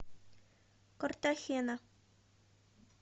картахена